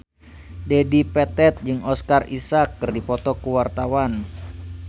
Dedi Petet jeung Oscar Isaac keur dipoto ku wartawan